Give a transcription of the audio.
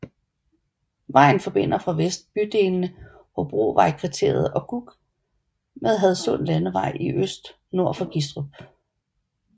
Vejen forbinder fra vest bydelene Hobrovejskvarteret og Gug med Hadsund Landevej i øst nord for Gistrup